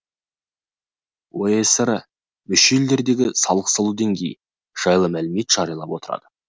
оэср мүше елдердегі салық салу деңгейі жайлы мәліметті жариялап отырады